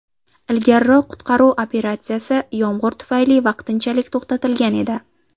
Ilgariroq qutqaruv operatsiyasi yomg‘ir tufayli vaqtinchalik to‘xtatilgan edi.